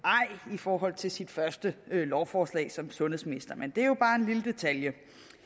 i forhold til sit første lovforslag som sundhedsminister men det er jo bare en lille detalje